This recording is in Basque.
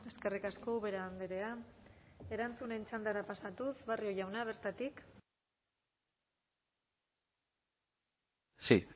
eskerrik asko ubera andrea erantzunen txandara pasatuz barrio jauna bertatik sí